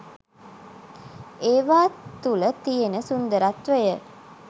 ඒවා තුල තියෙන සුන්දරත්වය.